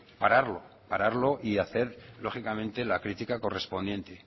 pararlo pararlo y hacer lógicamente la critica correspondiente